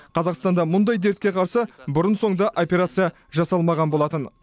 қазақстанда мұндай дертке қарсы бұрын соңды операция жасалмаған болатын